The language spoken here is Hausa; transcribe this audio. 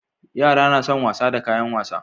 Yara na son wasa da kayan wasa